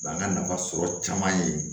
Bangan nafa sɔrɔ caman ye